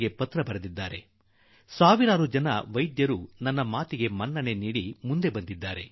ನನ್ನ ಮಾತಿಗೆ ಬೆಲೆ ಕೊಟ್ಟು ಸಾವಿರಾರು ವೈದ್ಯರು ಮುಂದೆ ಬಂದಿದ್ದಾರೆ